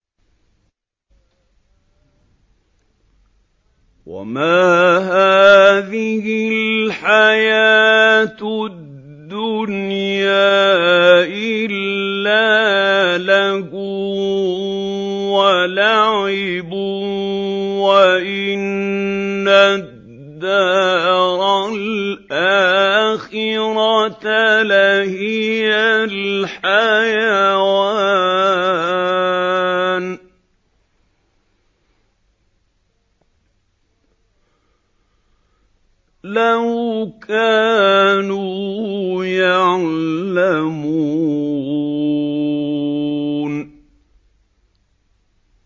وَمَا هَٰذِهِ الْحَيَاةُ الدُّنْيَا إِلَّا لَهْوٌ وَلَعِبٌ ۚ وَإِنَّ الدَّارَ الْآخِرَةَ لَهِيَ الْحَيَوَانُ ۚ لَوْ كَانُوا يَعْلَمُونَ